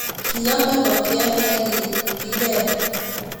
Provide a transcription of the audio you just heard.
Kiamee ngokiet nekikikel